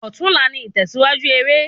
Òtún la ni ìtèsíwájú eré